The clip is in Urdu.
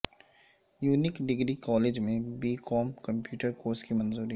یونیک ڈگری کالج میں بی کام کمپیوٹر کورس کی منظوری